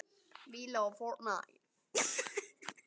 Hann er bara farinn að grenja!